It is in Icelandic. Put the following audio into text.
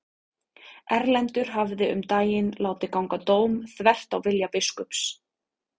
Erlendur hafði um daginn látið ganga dóm þvert á vilja biskups.